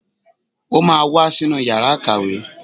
Ó máa wá sínú yàrá ìkàwé